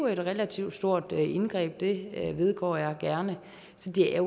et relativt stort indgreb det vedgår jeg gerne så det er